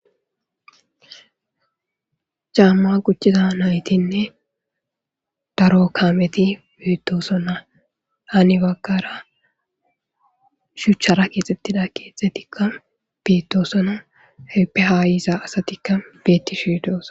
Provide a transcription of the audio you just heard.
Cama kuchiza nayiti ne daro kameti betosona hani bagara shuchara kexetida kethitika betossona heppe ha yiza assatika betishe dosona